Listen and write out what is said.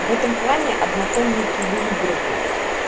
в этом плане однотонники выигрывают